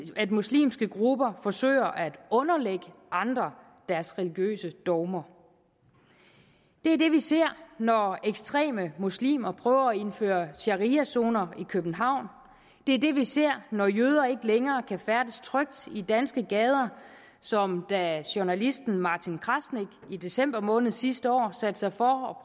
at muslimske grupper forsøger at underlægge andre deres religiøse dogmer det er det vi ser når ekstreme muslimer prøver at indføre shariazoner i københavn det er det vi ser når jøder ikke længere kan færdes trygt i danske gader som da journalisten martin krasnik i december måned sidste år satte sig for